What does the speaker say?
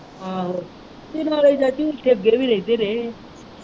ਆਹੋ ਤੇ ਨਾਲੇ ਚਾਚੀ ਅੱਗੇ ਵੀ ਰਹਿੰਦੇ ਰਹੇ ਹੈ।